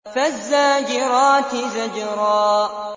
فَالزَّاجِرَاتِ زَجْرًا